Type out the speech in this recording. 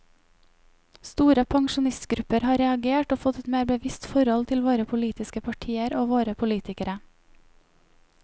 Store pensjonistgrupper har reagert og fått et mer bevisst forhold til våre politiske partier og våre politikere.